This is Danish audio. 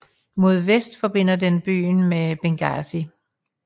Mod vest forbinder den byen med Benghazi